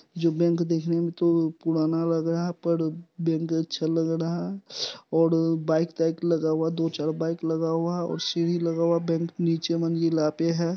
जो बैंक देखने में तो पुराना लग रहा है पर उ बैंक अच्छा लग रहा है और बाइक ताइक लगा हुआ है दो चार बाइक लगा हुआ है और सीढ़ी लगा हुआ है बैंक नीचे मंजिला पे हैं।